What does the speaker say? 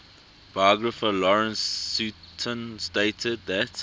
biographer lawrence sutin stated that